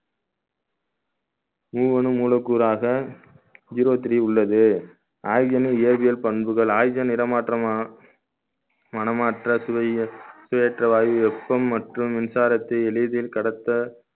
மூவனும் மூலக்கூறாக zero three உள்ளது oxygen ல் ஏவியல் பண்புகள் oxygen இடம் மாற்றமா மனமாற்ற சுவை சுயற்ற வாயு வெப்பம் மற்றும் மின்சாரத்தை எளிதில் கடத்த